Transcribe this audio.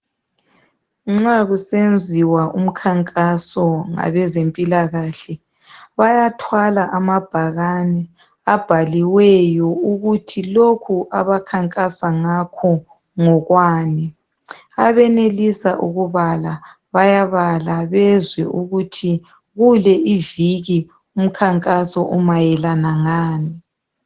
Nxa kusenziwa umkhankaso ngabezempilakahle bayathwala amabhakane abhaliweyo ukuthi lokhu abakhankasa ngakho ngokwani abenelisa ukubala bayabala bezwe ukuthi kule iviki umkhankaso umayelana lani.